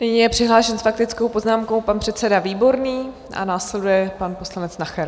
Nyní je přihlášen s faktickou poznámkou pan předseda Výborný a následuje pan poslanec Nacher.